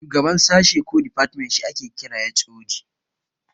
Shugaban sashe ko difatmen shi ake kira HOD